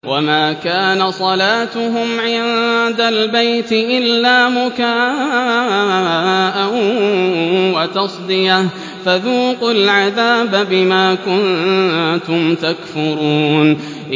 وَمَا كَانَ صَلَاتُهُمْ عِندَ الْبَيْتِ إِلَّا مُكَاءً وَتَصْدِيَةً ۚ فَذُوقُوا الْعَذَابَ بِمَا كُنتُمْ تَكْفُرُونَ